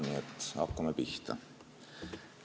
Nii et hakkame pihta.